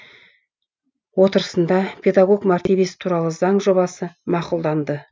отырысында педагог мәртебесі туралы заң жобасы мақұлданды